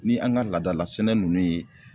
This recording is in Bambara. Ni an ka laadala sɛnɛ ninnu ye